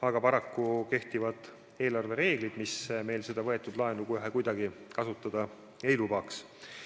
Aga paraku kehtivad eelarvereeglid, mis meil seda võetud laenu kohe kuidagi kasutada ei lubaks.